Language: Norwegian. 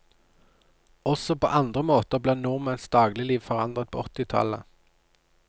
Også på andre måter ble nordmenns dagligliv forandret på åttitallet.